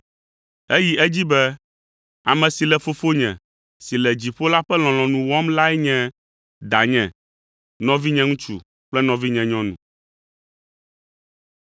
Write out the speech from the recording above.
Eyi edzi be, “Ame si le Fofonye si le dziƒo la ƒe lɔlɔ̃nu wɔm lae nye danye, nɔvinye ŋutsu kple nɔvinye nyɔnu.”